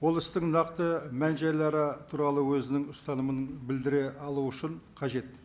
ол істің нақты мән жайлары туралы өзінің ұстанымын білдіре алу үшін қажет